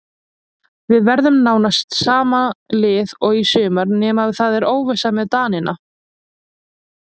Við verðum með nánast sama lið og í sumar nema það er óvissa með Danina.